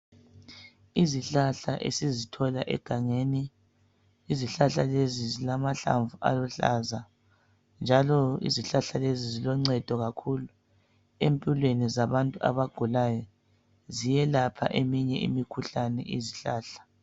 Izihlahla esizithola egangeni. Izihlahla lezi zilamahlamvu aluhlaza njalo izihlahla lezi ziloncedo kakhulu empilweni zabantu abagulayo. Ziyelapha eminye imikhuhlane izihlahla.